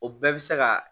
O bɛɛ bɛ se ka